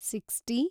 sixty